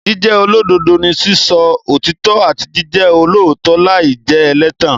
Jíjẹ́ olódodo ni sísọ òtítọ́ àti jíjẹ olóòótọ́ láì jẹ́ ẹlẹ́tàn.